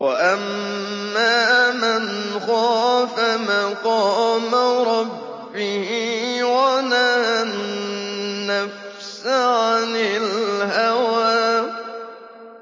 وَأَمَّا مَنْ خَافَ مَقَامَ رَبِّهِ وَنَهَى النَّفْسَ عَنِ الْهَوَىٰ